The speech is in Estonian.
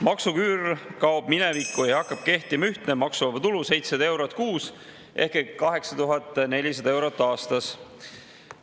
Maksuküür kaob minevikku ja hakkab kehtima ühtne maksuvaba tulu 700 eurot kuus ehk 8400 eurot aastas.